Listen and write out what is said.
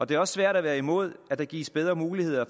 det er også svært at være imod at der gives bedre muligheder